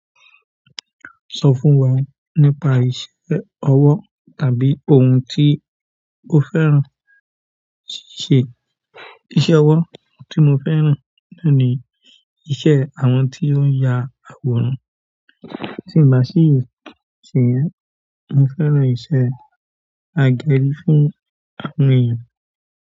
Sọ fún wa nípa iṣẹ́ ọwọ́ tàbí ohun tí o fẹ́ràn ṣíṣe. Iṣẹ́ ọwọ́ tí mo fẹ́ràn ló ni iṣẹ́ àwọn tí ó ń ya àwòrán. Ti n ba si se, mo fẹ́ràn iṣẹ́ agẹri fún àwọn eeyan.